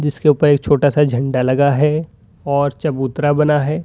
जिसके ऊपर एक छोटा सा झंडा लगा है और चबूतरा बना है।